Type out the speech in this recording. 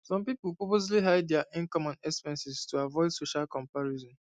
some people purposely hide dia income and expenses to avoid social comparison